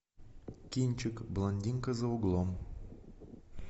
кинчик блондинка за углом